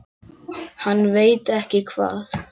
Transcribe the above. Hann veit ekki hvað